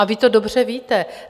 A vy to dobře víte.